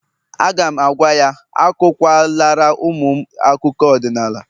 A ga'm-agwa ya, akụkwa lara ụmụ m akụkọ ọdịnala